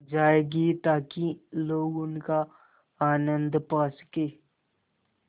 जाएगी ताकि लोग उनका आनन्द पा सकें